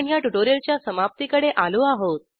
आपण ह्या ट्युटोरिअलच्या समाप्तीकडे आलो आहोत